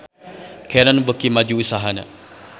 Canon beuki maju usahana